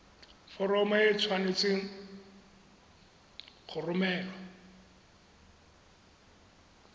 foromo e tshwanetse go romelwa